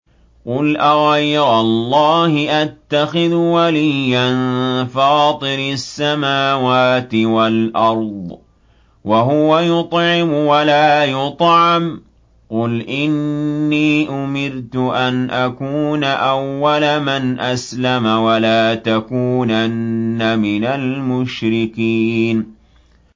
قُلْ أَغَيْرَ اللَّهِ أَتَّخِذُ وَلِيًّا فَاطِرِ السَّمَاوَاتِ وَالْأَرْضِ وَهُوَ يُطْعِمُ وَلَا يُطْعَمُ ۗ قُلْ إِنِّي أُمِرْتُ أَنْ أَكُونَ أَوَّلَ مَنْ أَسْلَمَ ۖ وَلَا تَكُونَنَّ مِنَ الْمُشْرِكِينَ